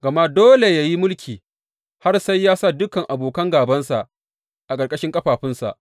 Gama dole yă yi mulki har sai ya sa dukan abokan gābansa a ƙarƙashin ƙafafunsa.